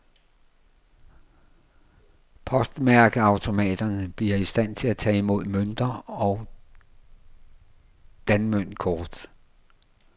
Postmærkeautomaterne bliver i stand til at tage imod mønter og danmøntkort.